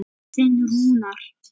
Þinn Rúnar.